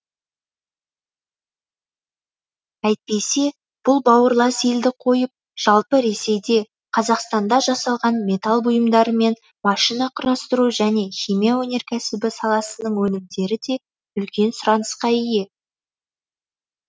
әйтпесе бұл бауырлас елді қойып жалпы ресейде қазақстанда жасалған металл бұйымдары мен машина құрастыру және химия өнеркәсібі саласының өнімдері де үлкен сұранысқа ие